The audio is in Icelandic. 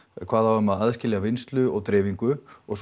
kvað á um að aðskilja vinnslu og dreifingu og